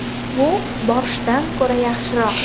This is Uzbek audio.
Bu borshchdan ko‘ra yaxshiroq.